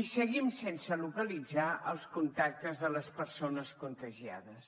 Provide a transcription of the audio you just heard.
i seguim sense localitzar els contactes de les persones contagiades